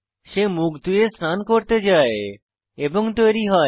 সে মুখ ধুয়ে স্নান করতে যায় এবং তৈরী হয়